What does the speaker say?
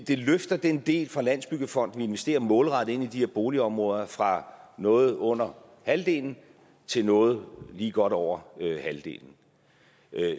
det løfter den del fra landsbyggefonden vi investerer målrettet i de her boligområder fra noget under halvdelen til noget lige godt over halvdelen